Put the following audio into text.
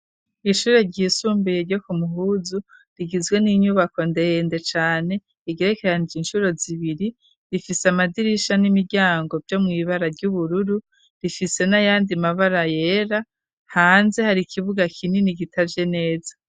Ishure ryisumbuye ryo ku muhuzu rigizwe n'inyubako ndende cane igirekeranije inshuro zibiri rifise amadirisha n'imiryango ryo mw'ibara ry'ubururu rifise nayandi mabara yera hanze hari ikibuga kinini gitaje neza.